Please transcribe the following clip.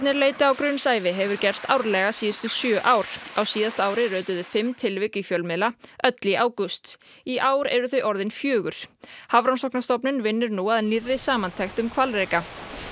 leiti á grunnsævi hefur gerst árlega síðustu sjö ár á síðasta ári rötuðu fimm tilvik í fjölmiðla öll í ágúst í ár eru þau orðin fjögur Hafrannsóknastofnun vinnur nú að nýrri samantekt um hvalreka